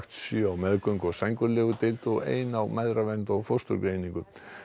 sjö á meðgöngu og sængurlegudeild og ein á mæðravernd og fósturgreiningu